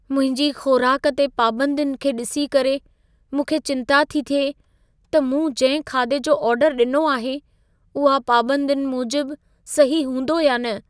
मुंहिंजी ख़ोराक ते पाबंदियुनि खे ॾिसी करे, मूंखे चिंता थी थिए त मूं जिंहिं खाधे जो ऑर्डर ॾिनो आहे, उहा पाबंदियुनि मूजिबु सही हूंदो या न।